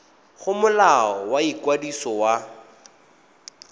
go molao wa ikwadiso wa